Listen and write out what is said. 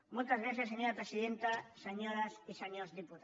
moltes gràcies senyora presidenta senyores i senyors diputats